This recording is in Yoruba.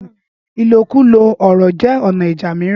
ìlòkulò ọ̀rọ̀ jẹ́ ọ̀nà ìjà mìíràn.